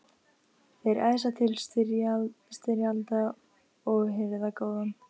Þeir æsa til styrjalda og hirða gróðann.